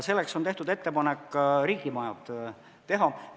Selleks on tehtud ettepanek riigimajad teha.